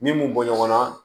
Min m'u bɔ ɲɔgɔn na